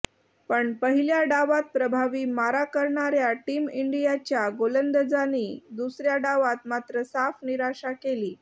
पण पहिल्या डावात प्रभावी मारा करणाऱ्या टीम इंडियाच्या गोलंदाजांनी दुसऱ्या डावात मात्र साफ निराशा केली